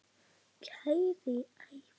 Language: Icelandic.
Kæri Ævar.